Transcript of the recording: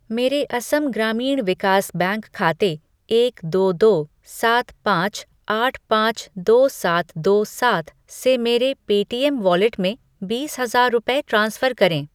मेरे असम ग्रामीण विकास बैंक खाते एक दो दो सात पाँच आठ पाँच दो सात दो सात से मेरे पे टीएम वॉलेट में बीस हजार रुपये ट्रांसफ़र करें